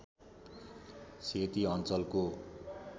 सेती अञ्चलको